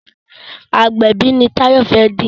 agbẹbi ní Tayo fè di.